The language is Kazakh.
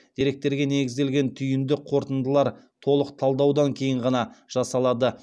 деректерге негізделген түйінді қорытындылар толық талдаудан кейін ғана жасалады